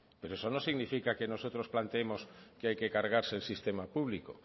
pero eso no significa que nosotros planteemos que hay que cargarse el sistema público